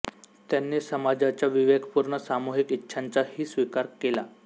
त्यांनी समाजाच्या विवेकपूर्ण सामुहिक इच्छांचा ही स्वीकार केला